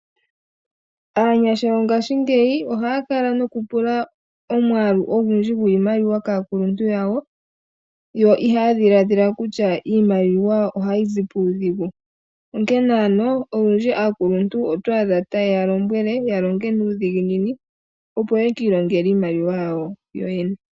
Aanyasha yongaashingeyi ohaya kala nokupula omwaalu ogundji gwiimaliwa kaakuluntu yawo , yo ihaya dhiladhila kutya iimaliwa ohayi zi puudhigu . Onkene olundji aakuluntu otwaadha taye ya lombwele yalonge nuudhiginini opo yeki ilongele iimaliwa yawo yoyene.